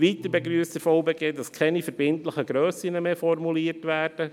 Weiter begrüsst der VBG, dass keine verbindlichen Grössen mehr formuliert werden.